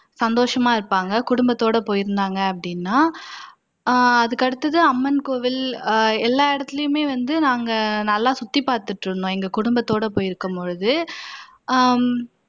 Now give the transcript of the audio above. சந்தோசமா இருப்பாங்க குடும்பத்தோட போயிருந்தாங்க அப்படினா அஹ் அதுக்கு அடுத்தது அம்மன் கோவில் எல்லா இடத்துலயுமே வந்து நாங்க நல்லா சுத்திப்பாத்துட்டு இருந்தோம் எங்க குடும்பத்தோட போயிருக்கும்போது ஹம்